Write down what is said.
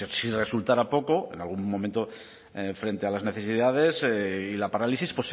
si resultara poco en algún momento frente a las necesidades y la parálisis